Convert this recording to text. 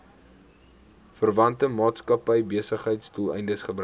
verwante maatskappybesigheidsdoeleindes gebruik